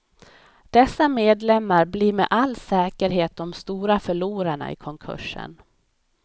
Dessa medlemmar blir med all säkerhet de stora förlorarna i konkursen.